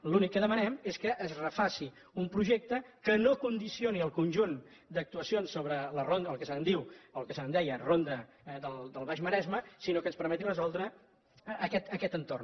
l’únic que demanem és que es refaci un projecte que no condicioni el conjunt d’actuacions sobre el que se’n diu o el que se’n deia ronda del baix maresme sinó que ens permeti resoldre aquest entorn